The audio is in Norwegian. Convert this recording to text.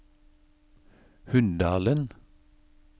Hunndalen